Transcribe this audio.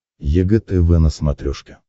егэ тв на смотрешке